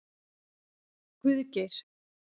Guðgeir